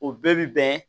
O bɛɛ bi bɛn